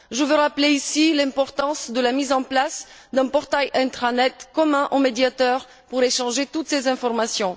Je veux rappeler ici l'importance de la mise en place d'un portail Intranet commun aux médiateurs pour échanger toutes ces informations.